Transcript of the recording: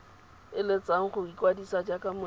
eletsang go ikwadisa jaaka monetshi